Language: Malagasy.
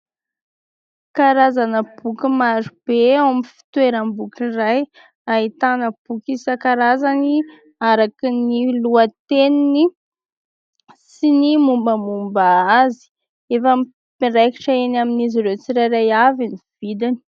Karazana boky marobe ao amin'ny fitoeram- boky iray ; ahitana boky isan-karazany araka ny lohateniny sy ny mombamomba azy. Efa miraikitra eny amin'izy ireo tsirairay avy ny vidiny.